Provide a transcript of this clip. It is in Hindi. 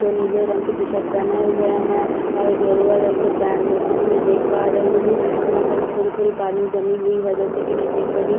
वह नीले रंग के टी_शर्ट पहने हुए है और गेरुआ रंग का पैंट जैसा कि मैं देख पा रही हूं यहां पे थोड़े थोड़े पानी जमी हुई है जैसा कि मैं देख पा रही हूँ घर--